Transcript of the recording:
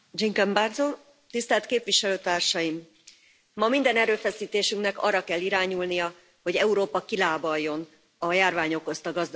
Elnök Asszony! Ma minden erőfeszítésünknek arra kell irányulnia, hogy Európa kilábaljon a járvány okozta gazdasági válságból.